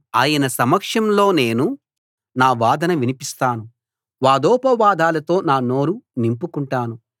ఆయన సమక్షంలో నేను నా వాదన వినిపిస్తాను వాదోపవాదాలతో నా నోరు నింపుకుంటాను